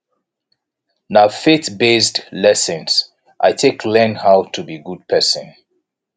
na faithbased lessons i take learn how to be a good pesin